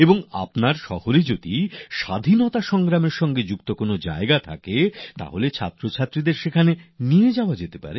আপনার শহরে স্বাধীনতা আন্দোলনে যুক্ত স্থানগুলিতে ছাত্রছাত্রীদের নিয়ে যেতে পারেন